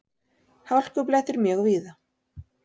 Hálkublettir mjög víða